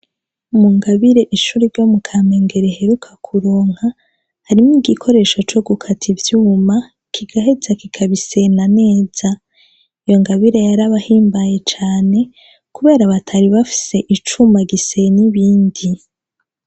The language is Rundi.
Mu ngabire ishuriro mu kamengere heruka kuronka harimwo igikoresho co gukata ivyuma kigaheza kikabisena neza iyo ngabire yarabahimbaye cane, kubera batari bafise icuma gisena ibindi.